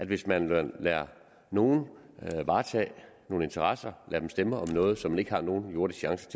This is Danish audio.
hvis man lader nogle varetage nogle interesser og lader dem stemme om noget som de ikke har nogen jordisk chance